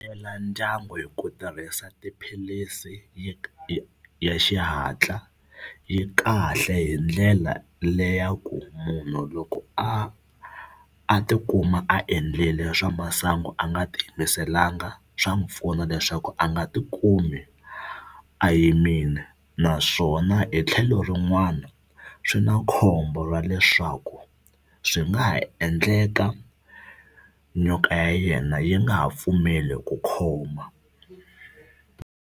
Hlela ndyangu hi ku tirhisa tiphilisi ya xihatla yi kahle hi ndlela le ya ku munhu loko a a tikuma a endlile swa masangu a nga ti yimiselanga swa n'wi pfuna leswaku a nga tikumi a yimile naswona hi tlhelo rin'wana swi na khombo ra leswaku swi nga ha endleka nyoka ya yena yi nga ha pfumeli ku khoma.